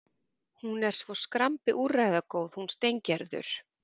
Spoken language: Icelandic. Hún er svo skrambi úrræðagóð, hún Steingerður.